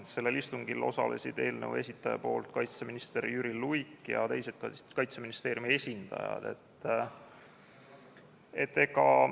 Sellel istungil osalesid eelnõu esitaja poolt kaitseminister Jüri Luik ja teised Kaitseministeeriumi esindajad.